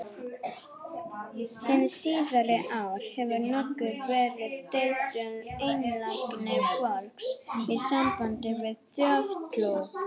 Hin síðari ár hefur nokkuð verið deilt um einlægni fólks í sambandi við þjóðtrú.